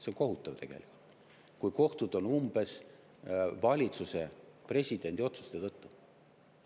See kohutav tegelikult, kui kohtud on umbes valitsuse, presidendi otsuste tõttu.